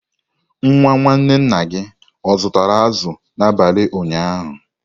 Nwa nwanne nna gị o zụtara azụ̀ n'abalị ụnyaahụ?